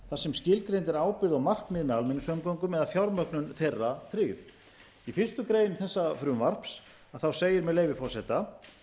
þar sem skilgreind er ábyrgð og markmið með almenningssamgöngum eða fjármögnun þeirra tryggð í fyrstu grein þessa frumvarps segir með leyfi forseta